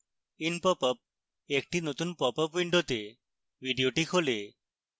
in popup একটি নতুন popup window video খোলে